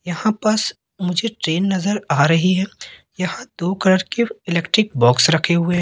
यहां बस मुझे ट्रेन नज़र आ रही है यहां दो कलर के इलेक्ट्रिक बॉक्स रखे हुए हैं।